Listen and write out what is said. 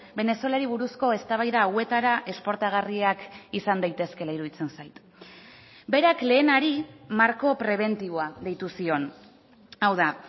venezuelari buruzko eztabaida hauetara esportagarriak izan daitezkeela iruditzen zait berak lehenari marko prebentiboa deitu zion hau da